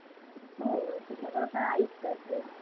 हो सगळं तर आईच करते.